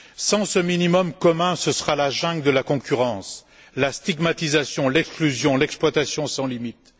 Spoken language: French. Sans ce minimum commun, ce sera la jungle de la concurrence, la stigmatisation, l'exclusion, l'exploitation sans limite.